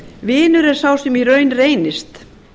vinur er sá sem í raun reynist